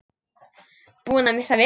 Búin að missa vitið?